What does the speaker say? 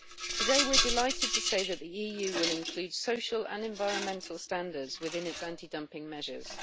Today, we are delighted to say that the EU will include social and environmental standards within its anti dumping measures.